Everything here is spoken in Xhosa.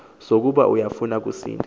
sokuba uyafuna kusini